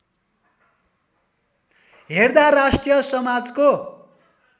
हेर्दा राष्ट्रिय समाजको